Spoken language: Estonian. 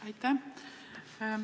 Aitäh!